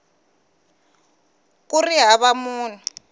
b ku ri hava munhu